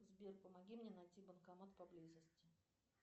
сбер помоги мне найти банкомат поблизости